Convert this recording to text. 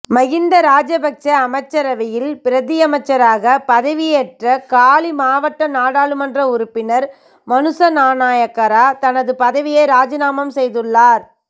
மகிந்த ராஜபக்ச அமைச்சரவையில் பிரதியமைச்சராக பதவியேற்ற காலி மாவட்ட நாடாளுமன்ற உறுப்பினர் மனுசநாணயக்கார தனது பதவியை இராஜினாமா செய்துள்ளார்